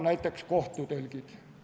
Näiteks kohtutõlgid.